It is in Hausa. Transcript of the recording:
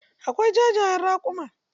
Akwai ja jayen raƙuma.